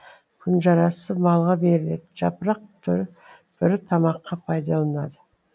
күнжарасы малға беріледі жапырақ бүрі тамаққа пайдаланылады